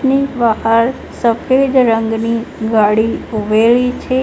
એની બહાર સફેદ રંગની ગાડી ઉભેલી છે.